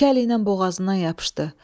İki əliylə boğazından yapışdı.